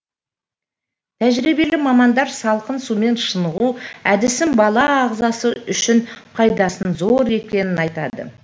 тәжірибелі мамандар салқын сумен шынығу әдісінің бала ағзасы үшін пайдасының зор екенін айтады